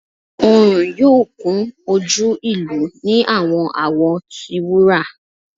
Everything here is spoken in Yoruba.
Oorun yoo kun oju ilu ni awọn awọ ti wura